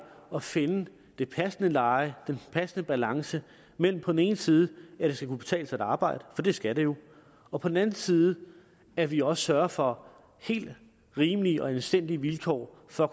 at finde det passende leje den passende balance mellem på den ene side at det skal kunne betale sig at arbejde for det skal det jo og på den anden side at vi også sørger for helt rimelige og anstændige vilkår for at